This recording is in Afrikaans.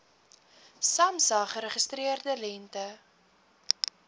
samsa geregistreerde lengte